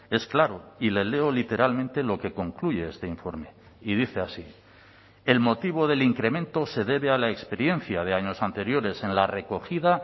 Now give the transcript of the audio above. es claro y le leo literalmente lo que concluye este informe y dice así el motivo del incremento se debe a la experiencia de años anteriores en la recogida